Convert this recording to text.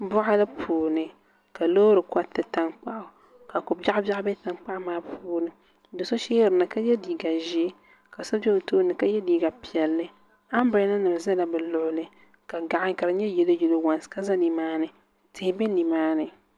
Boɣali puuni ka loori koriti tankpaɣu ka ko biɛɣu biɛɣu bɛ tankpaɣu maa puuni do so ʒɛ dinni ka yɛ liiga ʒiɛ ka so bɛ o tooni ka yɛ liiga piɛlli anbirɛla nim ʒɛla bi luɣuli ka gaɣa ka di nyɛ yɛlo yɛlo waans ka ʒɛ nimaani tihi bɛ nimaani